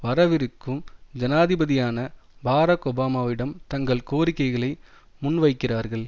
வரவிருக்கும் ஜனாதிபதியான பராக் ஒபாவிடம் தங்கள் கோரிக்கைகளை முன்வைக்கிறார்கள்